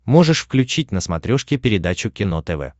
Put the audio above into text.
можешь включить на смотрешке передачу кино тв